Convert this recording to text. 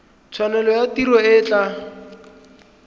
tshwanelo ya tiro e tla